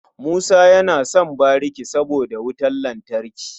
Musa yana son bariki saboda wutan lantarki.